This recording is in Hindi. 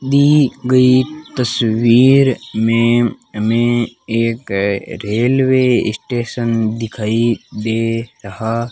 दी गई तस्वीर में हमें एक रेलवे स्टेशन दिखाई दे रहा --